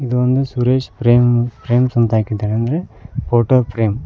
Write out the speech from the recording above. ಇದೊಂದು ಸುರೇಶ್ ಪ್ರೇಮ್ ಫ್ರೇಮ್ಸ್ ಅಂದ್ರೆ photo frame .